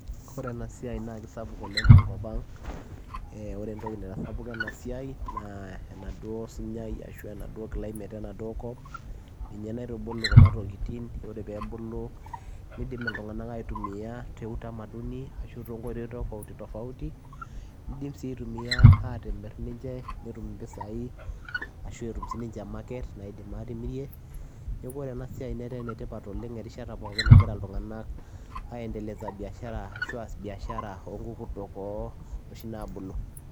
Oree enaa siai naa kisapuk oleng te enkop ang oree entokii naitasapuka ena siai naa climate ninye naitubuluu kuna tokitin oree peyiee ebulu nidim ilntunganak aaitumia te utamaduni ashua too nkoitoii tofautiti nimrr netum mpisai ashua market neeku etaa ena siai enetipat erishata pookin naagira ilntunganak andeleza biashara ooo ngurkurtok nabulu